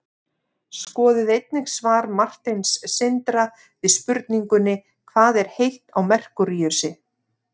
skoðið einnig svar marteins sindra við spurningunni hvað er heitt á merkúríusi